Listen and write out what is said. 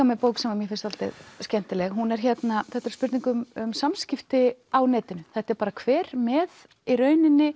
með bók sem mér finnst dálítið skemmtileg þetta er spurning um samskipti á netinu þetta er kver með í rauninni